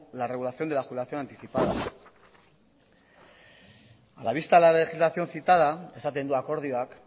la regulación de la de jubilación anticipada a la vista de la legislación citada esaten du akordioak